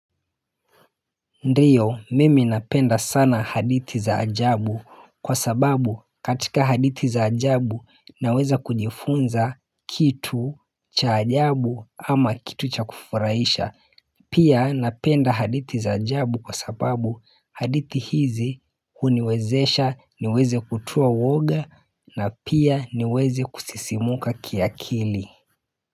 Ndiyo mimi napenda sana hadithi za ajabu kwa sababu katika hadithi za ajabu naweza kujifunza kitu cha ajabu ama kitu cha kufuraisha pia napenda hadithi za ajabu kwa sababu hadithi hizi huniwezesha niweze kutoa uwoga na pia niweze kusisimuka kiakili.